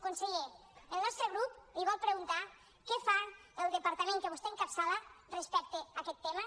conseller el nostre grup li vol preguntar què fa el departament que vostè encapçala respecte a aquest tema